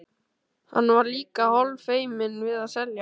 Hann var líka hálffeiminn við að selja.